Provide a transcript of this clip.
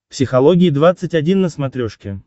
психология двадцать один на смотрешке